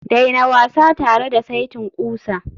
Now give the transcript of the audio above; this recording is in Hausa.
daina wasa tare da saitin ƙusa